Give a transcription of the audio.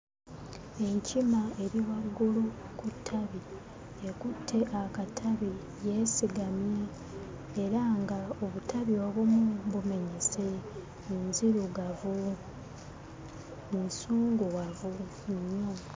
Enkima eri waggulu ku ttabi ekutte akatabi yeesigamye era nga obutabi obumu bumenyese nzirugavu nsunguwavu nnyo.